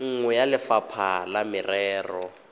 nngwe ya lefapha la merero